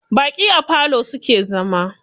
Baƙi a falo suke zama.